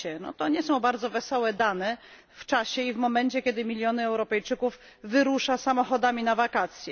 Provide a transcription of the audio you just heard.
To nie są bardzo wesołe dane w czasie i w momencie, kiedy miliony Europejczyków wyruszają samochodami na wakacje.